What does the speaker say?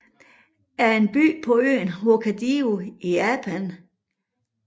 er en by på øen Hokkaido i Japan